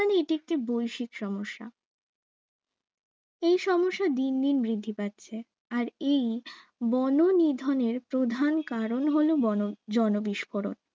এটি একটি বৈশিক সমস্যা এই সমস্যা দিন দিন বৃদ্ধি পাচ্ছে আর বননিধনের প্রধান কারণ হলো জনবিস্ফোরক